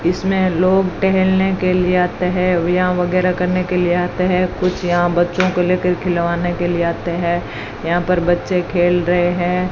इसमें लोग टहलने के लिए आते हैं व्यायाम वगैरा करने के लिए आते हैं कुछ यहां बच्चों को लेकर खिलावाने के लिए आते हैं यहां पर बच्चे खेल रहे हैं।